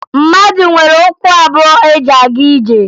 Mmadụ nwere ụkwụ abụọ eji aga ije